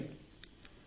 పట్నాయక్ ని సార్